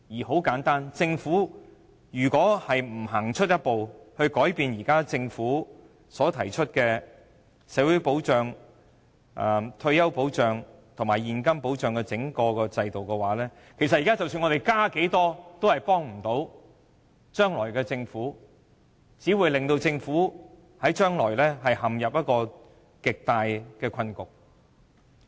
很簡單，如果政府不走出一步，改變現行的整體社會保障和退休保障制度，不論現在增加多少撥款，也無助將來的政府，只會令將來的政府陷入極大困局。